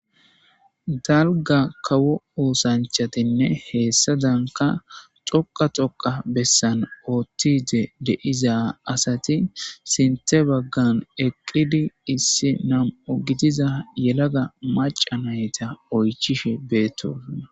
Dalga kawo oothanchatinne hesadanka dhoqqa dhoqqa bessan de'iza asati sinthe baggan eqqidi issi nam'u gidiza yelaga macca nayta oychishe beetosona.